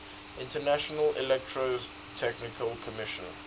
international electrotechnical commission